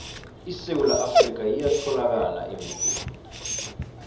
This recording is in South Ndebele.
isewula afrika iyatholakala emebheni